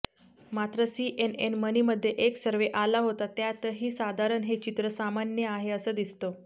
मात्र सीएनएन मनीमध्ये एक सर्वे आला होता त्यातही साधारण हे चित्र सामान्य आहे असं दिसतं